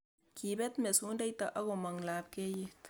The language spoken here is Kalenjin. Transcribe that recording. kibet mesundeito ak komong lopkeyet